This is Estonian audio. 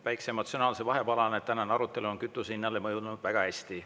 Väikese emotsionaalse vahepalana, tänane arutelu on kütuse hinnale mõjunud väga hästi.